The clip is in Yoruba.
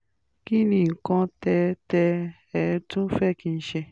kí ni nǹkan tẹ́ tẹ́ ẹ tún fẹ́ kí n ṣe